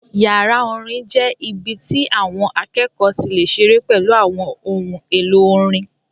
Yàrá orin jẹ́ ibi tí àwọn akẹ́kọ̀ọ́ ti lè ṣeré pẹ̀lú àwọn ohun èlò orin